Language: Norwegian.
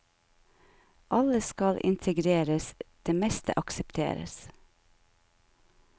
Alle skal integreres, det meste aksepteres.